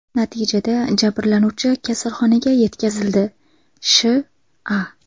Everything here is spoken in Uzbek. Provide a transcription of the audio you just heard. Natijada jabrlanuvchi kasalxonaga yetkazildi, Sh.A.